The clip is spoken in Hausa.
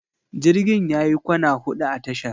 Jirgin yayi kwana huɗu a tashar.